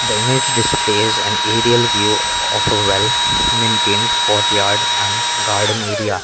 the image displays an aerial view of a well maintained courtyard and garden area.